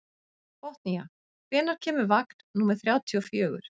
Botnía, hvenær kemur vagn númer þrjátíu og fjögur?